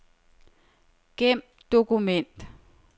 Gem dokument.